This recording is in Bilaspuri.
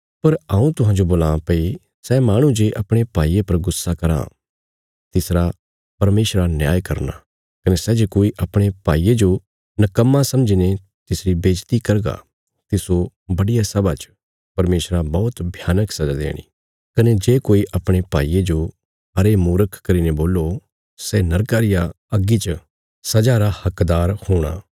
पर हऊँ तुहांजो बोलां भई सै माहणु जे अपणे भाईये पर गुस्सा कराँ तिसरा परमेशरा न्याय करना कने सै जे कोई अपणे भाईये जो निकम्मा समझीने तिसरी बेज्जति करगा तिस्सो बड्डिया सभा च परमेशरा बौहत भयानक सजा देणी कने जे कोई अपणे भाईये जो अरे मूर्ख करीने बोल्लो सै नरका रिया अग्गी च सजा रा हकदार हूणा